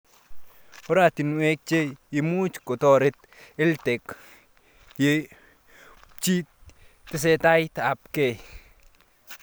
Oratinwek che imuch kotaret EdTech yechutchi tesetaita ab kei